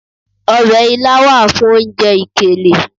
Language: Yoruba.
Ọbẹ̀ ilá wà fún oúnjẹ ìkèlè.